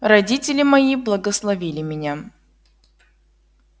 родители мои благословили меня